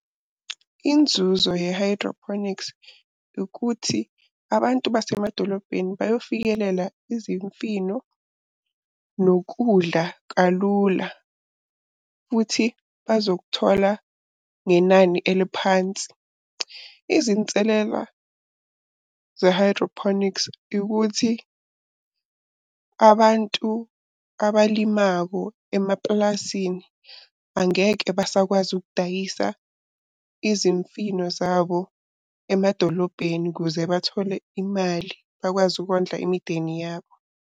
Inzuzo ye-hydroponics ukuthi abantu basemadolobheni bayofikelela izimfino nokudla kalula, futhi bazokuthola ngenani eliphansi. Izinselela ze-hydroponics, ukuthi abantu abalimako emapulazini angeke basakwazi ukudayisa izimfino zabo emadolobheni ukuze bathole imali, bakwazi ukondla imindeni yabo.